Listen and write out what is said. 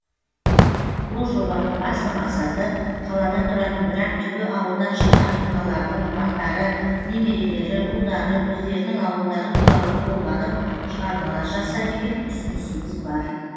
бұл жобаның басты мақсаты қалада тұратын бірақ түбі ауылдан шыққан тұлғалардың ұрпақтары немерелері ұлдары өздерінің ауылдары туралы толғанып шығармалар жазса деген ұсынысымыз бар